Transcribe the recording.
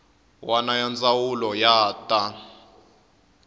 wana ya ndzawulo ya ta